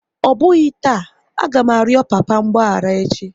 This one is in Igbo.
Ọ bụghị taa, a ga m arịọ papa mgbaghara echi!